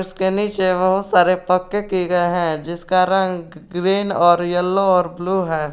कैनिस है बहुत सारे पक्के किए गए हैं जिसका रंग ग्रीन और येलो और ब्लू है।